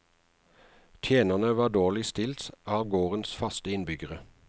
Tjenerne var dårligst stilt av gårdens faste innbyggere.